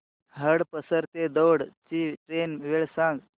हडपसर ते दौंड ची ट्रेन वेळ सांग